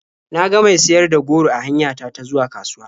Na ga mai siyar da goro a hanya ta ta zuwa kasuwa.